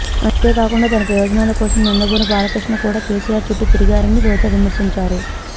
అంతేకాకుండా తన ప్రయోజనాల కోసం నందమూరి బాలకృష్ణ కూడా కేసీఆర్ చుట్టూ తిరిగారని రోజా విమర్శించారు